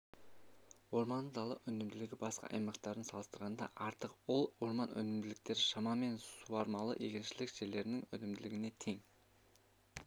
орманды дала өнімділігі басқа аймақтармен салыстырғанда артық ал орман өнімділіктері шамамен суармалы егіншілік жерлерінің өнімділігіне тең